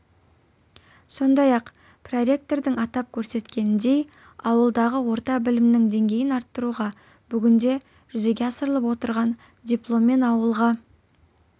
сондай-ақ проректордың атап көрсеткеніндей ауылдағы орта білімнің деңгейін арттыруға бүгінде жүзеге асырылып отырған дипломмен ауылға